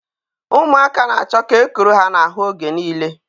Ụmụaka na-achọ ka e kuru ha n'ahụ oge niile